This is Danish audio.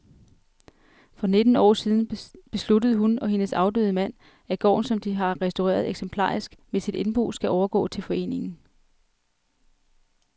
Allerede for nitten år siden besluttede hun og hendes afdøde mand, at gården, som de har restaureret eksemplarisk, med sit indbo skal overgå til foreningen